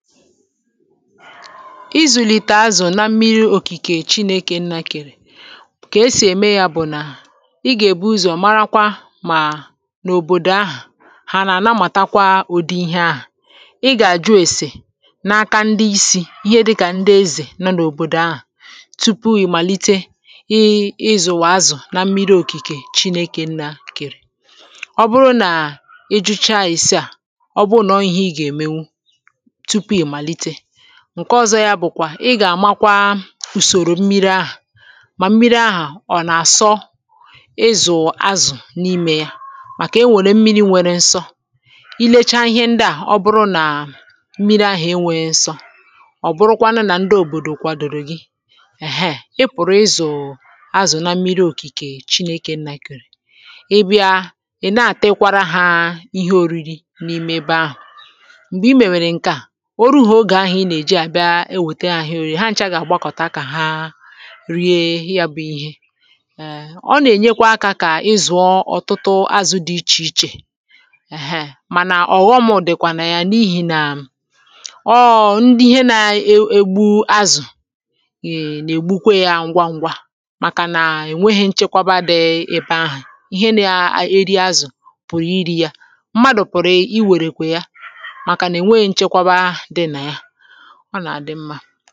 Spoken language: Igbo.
ịzùlìtè azù na mmiri òkìkè chinėkè nna kèrè ka esì ème yȧ bụ̀ nà ị gà-èbu ụzọ̀ marakwa mà n’òbòdò ahà hà nà ànamàtakwa òdi ihe ahà ị gà-àjụ esè n’aka ndị isi̇ ihe dịkà ndị ezè na n’òbòdò ahà tupu yi̇ màlite ịịzùwà azù na mmiri òkìkè chinėkè nna kèrè ọ bụrụ nà ị jụchaà èsi à ọ bụ nọ ihe ị gà-ème ǹke ọzọ ya bụ̀kwà ị gà-àmakwa ùsòrò mmiri ahụ̀ mà mmiri ahụ̀ ọ̀ nà-àsọ ịzụ̀ azụ̀ n’imė ya màkà enwèrè mmiri nwere nsọ i lechaa ihe ndị à ọ bụrụ nà mmiri ahụ̀ enwe nsọ ọ bụrụkwanụ nà ndị òbòdò kwadoro gị è ha, e pụ̀rụ̀ ịzụ̀ azụ̀ na mmiri òkìkè chinėke nna kìrì ị bịa ị̀ na-àtekwara ha ihe oriri n’ime ebe ahụ̀ ihe ọ gà-àgbakọ̀ta akȧ ha rie ya bụ̇ ihe ọ nà-ènyekwa akȧ kà ị zụ̀ọ ọ̀tụtụ azụ̇ dị ichè ichè mana ọ̀ghọm dịkwà nà ya n’ihi nà ọọ̇ ihe nà egbu azụ̀ nà-ègbukwe ya ngwa ngwa màkànà ènweghị̇ nchekwaba dị̇ ebe ahụ̀ ihe na-eri azụ̀ pụ̀rụ̀ iri̇ ya ọ nà-àdị mmȧ